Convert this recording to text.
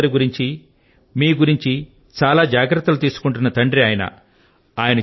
మీ సోదరి గురించి మీ గురించి చాలా జాగ్రత్తలు తీసుకుంటున్న తండ్రి ఆయన